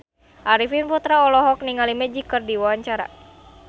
Arifin Putra olohok ningali Magic keur diwawancara